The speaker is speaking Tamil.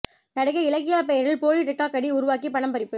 நடிகை இலக்கியா பெயரில் போலி டிக்டாக் ஐடி உருவாக்கி பணம் பறிப்பு